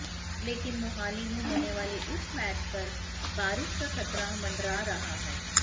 लेकिन मोहाली में होने वाले इस मैच पर बारिश का खतरा मंडरा रहा है